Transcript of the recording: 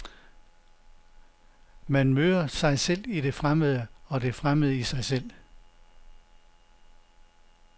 Man møder sig selv i det fremmede og det fremmede i sig selv.